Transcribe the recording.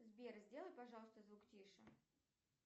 сбер сделай пожалуйста звук тише